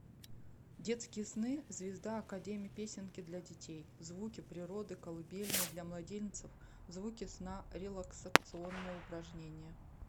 детские сны звезда академи песенки для детей звуки природы колыбельные для младенцев звуки сна релаксационные упражнения